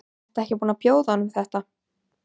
Ertu ekki búin að bjóða honum þetta?